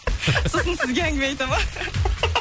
сосын сізге әңгіме айтады ма